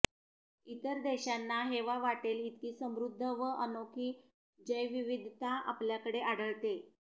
इतर देशांना हेवा वाटेल इतकी समृद्ध व अनोखी जैवविविधता आपल्याकडे आढळते